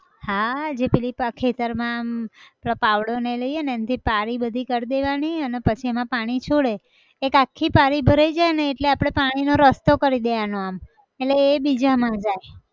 હા જે પેલી પા ખેતર માં અમ પેલો પાવડો ને એ લઈએ ને એનથી પારી બધી કર દેવાની અન પછી એમાં પાણી છોડે, એક આખી પારી ભરાઈ જાય ને એટલે આપણે પાણી નો રસ્તો કરી દેવાનો આમ, એટલે એ બીજે એમાં જાય